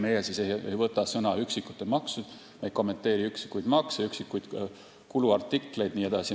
Meie ei võta sõna üksikute maksude teemal, me ei kommenteeri üksikuid makse, üksikuid kuluartikleid jne.